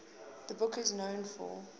the book is known for